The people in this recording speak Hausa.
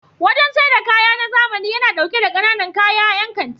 Wajen saida kaya na zamani yana ɗauke da ƙananan kaya 'yan kanti.